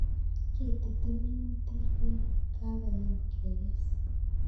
Kitutu minutik ye kakoyem kekes